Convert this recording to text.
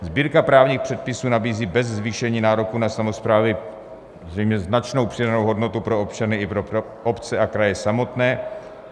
Sbírka právních předpisů nabízí bez zvýšení nároků na samosprávy zřejmě značnou přidanou hodnotu pro občany i pro obce a kraje samotné.